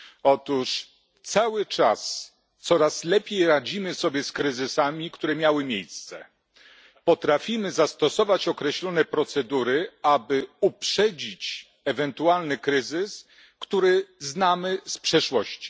Otóż cały czas coraz lepiej radzimy sobie z kryzysami, które miały miejsce, i potrafimy zastosować określone procedury, aby uprzedzić ewentualny kryzys, który znamy z przeszłości.